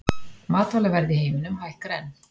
Matvælaverð í heiminum hækkar enn